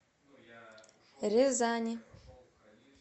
рязани